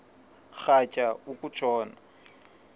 rhatya uku tshona